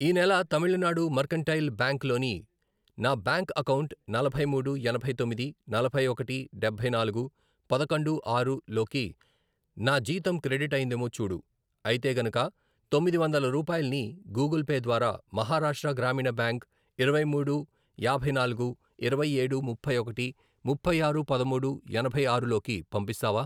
ఈ నెల Tamil Nadu mercantile bank లోని నా బ్యాంక్ అకౌంటు నలభై మూడు, ఎనభై తొమ్మిది, నలభై ఒకటి, డబ్బై నాలుగు, పదకొండు, ఆరు, లోకి నా జీతం క్రెడిట్ అయ్యిందేమో చూడు, అయితే గనుక తొమ్మిది వందల రూపాయల్ని గూగుల్ పే ద్వారా మహారాష్ట్ర గ్రామీణ బ్యాంక్ ఇరవై మూడు, యాభై నాలుగు, ఇరవై ఏడు, ముప్పై ఒకటి, ముపై ఆరు, పదమూడు, ఎనభై ఆరు, లోకి పంపిస్తావా?